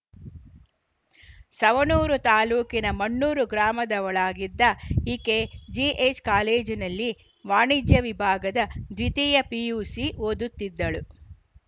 ಸವಣೂರು ತಾಲೂಕಿನ ಮಣ್ಣೂರು ಗ್ರಾಮದವಳಾಗಿದ್ದ ಈಕೆ ಜಿಎಚ್‌ ಕಾಲೇಜಿನಲ್ಲಿ ವಾಣಿಜ್ಯ ವಿಭಾಗದ ದ್ವಿತೀಯ ಪಿಯುಸಿ ಓದುತ್ತಿದ್ದಳು